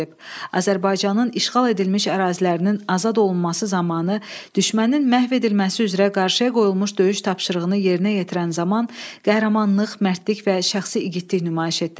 Azərbaycanın işğal edilmiş ərazilərinin azad olunması zamanı düşmənin məhv edilməsi üzrə qarşıya qoyulmuş döyüş tapşırığını yerinə yetirən zaman qəhrəmanlıq, mərdlik və şəxsi igidlik nümayiş etdirib.